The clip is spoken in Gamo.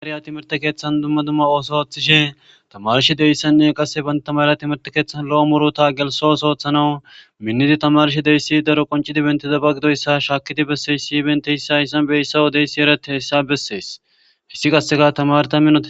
Timirtte keththan dumma dumma oso oththishe tammarishe diizayssane qasse bantta malla timihirtte keththan lo'o muurutta gelsso otho oththanawu miinidi tammarishe diizayssi daaro qonccidi benttidaba gidoyssa shakkidi bessiyaysi issi bentiyassi hayssan bentta wodeysi erretiyayssa besses hayssi qasse tammara minott...